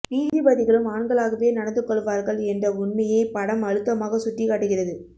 நீதிபதிகளும் ஆண்களாகவே நடந்து கொள்வார்கள் என்ற உண்மையைப் படம் அழுத்தமாகச் சுட்டிக்காட்டுகிறது